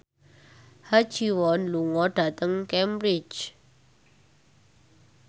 Ha Ji Won lunga dhateng Cambridge